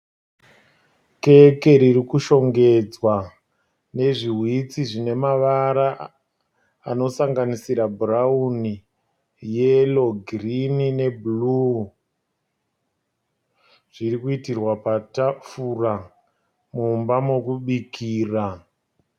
Keke riri kushongedzwa nezviwhitsi zvine mavara anosanganisira bhurauni, yero, girini nebhuruu. Zviri kuitirwa patafura, mumba mokubikira.